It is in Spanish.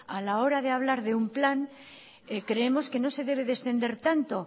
a la hora de hablar de un plan creemos que no se debe de extender tanto